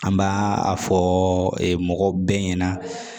An b'a a fɔ mɔgɔ bɛɛ ɲɛna